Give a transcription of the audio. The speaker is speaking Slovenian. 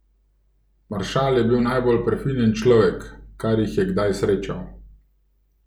Maršal je bil najbolj prefinjen človek, kar jih je kdaj srečal.